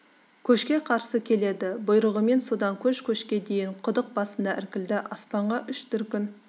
көшке қарсы келеді бұйрығымен содан көш кешке дейін құдық басыңда іркілді аспанға үш дүркін